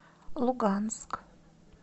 луганск